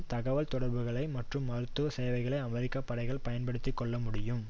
தகவல் தொடர்புகள் மற்றும் மருத்துவ சேவைகளை அமெரிக்க படைகள் பயன்படுத்தி கொள்ள முடியும்